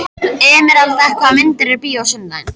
Emeralda, hvaða myndir eru í bíó á sunnudaginn?